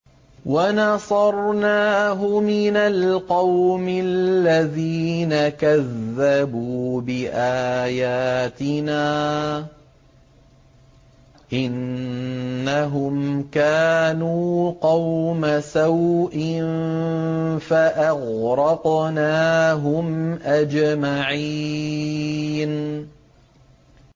وَنَصَرْنَاهُ مِنَ الْقَوْمِ الَّذِينَ كَذَّبُوا بِآيَاتِنَا ۚ إِنَّهُمْ كَانُوا قَوْمَ سَوْءٍ فَأَغْرَقْنَاهُمْ أَجْمَعِينَ